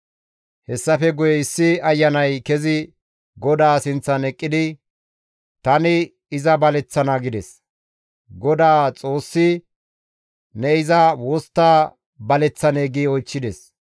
Hessafe guye issi ayanay kezi GODAA sinththan eqqidi, ‹Tani iza baleththana› gides. GODAA Xoossi, ‹Ne iza wostta baleththanee?› gi oychchides.